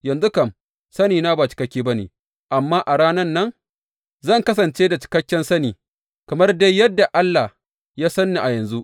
Yanzu kam sanina ba cikakke ba ne, amma a ranan nan zan kasance da cikakken sani, kamar dai yadda Allah ya san ni a yanzu.